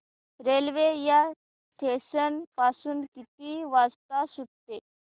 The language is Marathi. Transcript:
रेल्वे या स्टेशन पासून किती वाजता सुटते